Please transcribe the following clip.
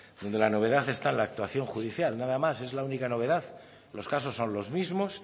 cuando la novedad está en la actuación judicial nada más es la única novedad los casos son los mismos